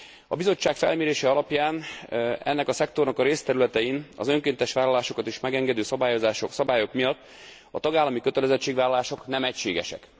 A Bizottság felmérése alapján ennek a szektornak a részterületein az önkéntes vállalásokat is megengedő szabályok miatt a tagállami kötelezettségvállalások nem egységesek.